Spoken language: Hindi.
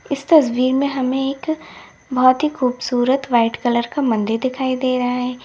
इस तस्वीर में हमें एक बहोत ही खूबसूरत व्हाइट कलर का मंदिर दिखाई दे रहा है।